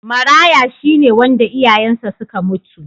Maraya shi ne wanda iyayensa suka mutu.